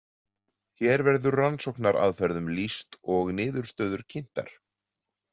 Hér verður rannsóknaraðferðum lýst og niðurstöður kynntar.